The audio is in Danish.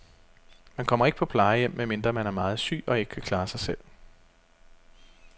Man kommer ikke på plejehjem, medmindre man er meget syg og ikke kan klare sig selv.